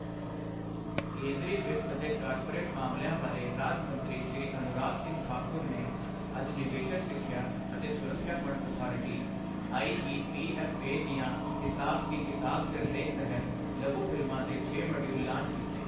ਕੇਂਦਰੀ ਵਿੱਤ ਅਤੇ ਕਾਰਪੋਰੇਟ ਮਾਮਲਿਆਂ ਬਾਰੇ ਰਾਜ ਮੰਤਰੀ ਸ਼੍ਰੀ ਅਨੁਰਾਗ ਸਿੰਘ ਠਾਕੁਰ ਨੇ ਅੱਜ ਨਿਵੇਸ਼ਕ ਸਿੱਖਿਆ ਅਤੇ ਸੁਰੱਖਿਆ ਫੰਡ ਅਥਾਰਟੀ ਆਈਈਪੀਐੱਫਏ ਦੀਆਂ ਹਿਸਾਬ ਕੀ ਕਿਤਾਬ ਸਿਰਲੇਖ ਤਹਿਤ ਲਘੂ ਫ਼ਿਲਮਾਂ ਦੇ ਛੇ ਮੋਡਯੂਲਸ ਲਾਂਚ ਕੀਤੇ।